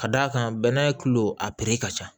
Ka d'a kan bɛnɛ tulo a piri ka ca